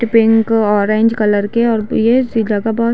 pink orange colour के और ये --]